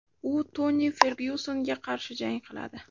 U Toni Fergyusonga qarshi jang qiladi.